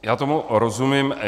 Já tomu rozumím.